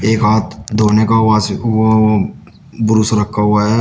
एक हाथ धोने का वाश वो ब्रुश रखा हुआ है।